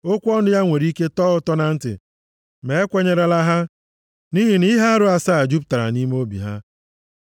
Okwu ọnụ ya nwere ike tọọ ụtọ na ntị ma ekwenyerela ha, nʼihi na ihe arụ asaa jupụtara nʼime obi ha.